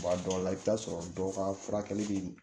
Bɔn a dɔw la i bɛ taa sɔrɔ dɔw ka furakɛli bɛ